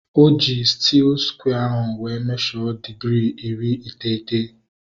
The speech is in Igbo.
Oji stiil skware wee mesho digirii iri iteghete